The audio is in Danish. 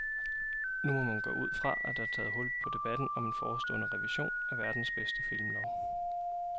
Nu må man gå ud fra, at der er taget hul på debatten om en forestående revision af verdens bedste filmlov.